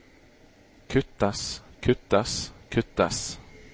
kuttes kuttes kuttes